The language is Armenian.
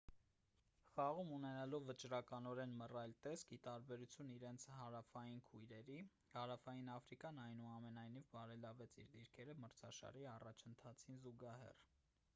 խաղում ունենալով վճռականորեն մռայլ տեսք ի տարբերություն իրենց հարավային քույրերի հարավային աֆրիկան այնուամենայնիվ բարելավեց իր դիրքերը մրցաշարի առաջընթացին զուգահեռ